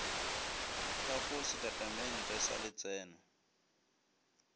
ka go setatamente sa letseno